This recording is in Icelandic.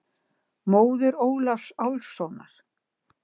Móðir Ólafs Álfssonar.